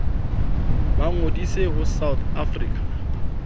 ba ngodise ho south african